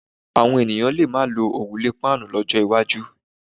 Àwọn ènìyàn lè má lo òrùlé páànù lọ́jọ́ iwájú.